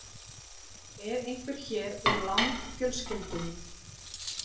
Er einhver hér úr Lang-fjölskyldunni?